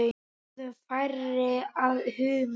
Bráðum færi að húma.